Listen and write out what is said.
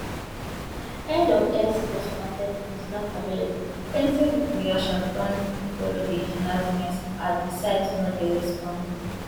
end of x post con ten t is not available plenty reactions don follow di announcement as di site no dey respond